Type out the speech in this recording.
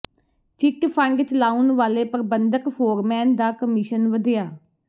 chit fund ਚਲਾਉਣ ਵਾਲੇ ਪ੍ਰਬੰਧਕ ਫੋਰਮੈਨ ਦਾ ਕਮਿਸ਼ਨ ਵਧਿਆ